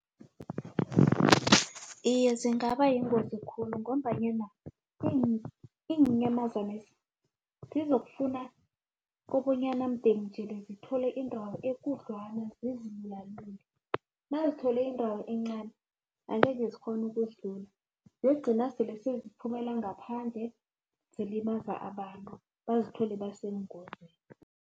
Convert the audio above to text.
Iye, zingaba yingozi khulu ngombanyana iinyamazana lezo zizokufuna kobonyana mdele ngithole indawo ekudlwana zizilulalule nazithole indawo encani angeke zikghone ukuzilula ziyokugcina sele ziphumelela ngaphandle zilimaza abantu bazithole basebungozini.